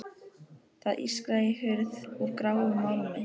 Það ískraði í hurð úr gráum málmi.